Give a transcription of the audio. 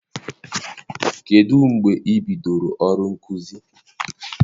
Kedụ mgbe i bidoro ọrụ nkuzi?